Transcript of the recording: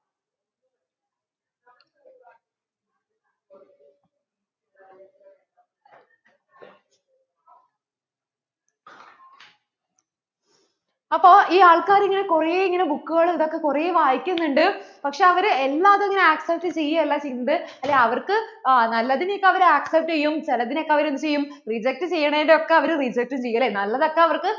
അപ്പോ ഈ ആൾകാര് ഇങ്ങനെ കുറേ ഇങ്ങനെ book കളും ഇതൊക്കെ കുറേ വായിക്കുന്നുണ്ട് പക്ഷേ അവർ എല്ലാം അതിങ്ങനെ accept ചെയ്യ അല്ല ചെയുന്നത് അല്ലേ അവർക്ക് ആ നല്ലതിനെ ഒക്കെ അവര്‍ accept ചെയ്യും ചിലതിനെ ഒക്കെ അവർ എന്ത് ചെയ്യും reject ചെയ്യണേനെ ഒക്കെ അവർ reject ചെയ്യും. നല്ലത്തൊക്കെ അവര്‍ക്ക്